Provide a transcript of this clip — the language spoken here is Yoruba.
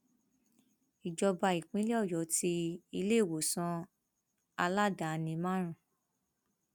ìjọba ìpínlẹ ọyọ ti iléèwòsàn aládàáni márùn